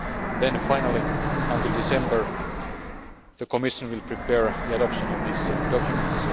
Then, finally, by December, the Commission will prepare the adoption of these documents.